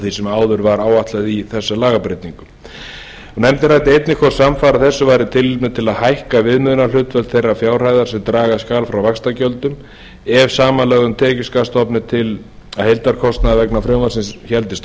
því sem áður var áætlað í þessum lagabreytingum nefndin ræddi einnig hvort samfara þessu væri tilefni til að hækka viðmiðunarhlutfall þeirrar fjárhæðar sem draga skal frá vaxtagjöldum af samanlögðum tekjuskattsstofni til að heildarkostnaður vegna frumvarpsins héldist